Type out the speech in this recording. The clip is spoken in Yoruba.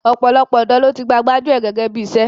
Ọ̀pọ̀lọpọ̀ ọ̀dọ́ ló ti gba gbájú ẹ̀ gẹ́gẹ́ bí iṣẹ́.